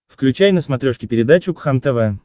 включай на смотрешке передачу кхлм тв